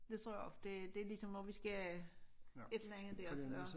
Det tror jeg også det det ligesom om vi skal et eller andet dér så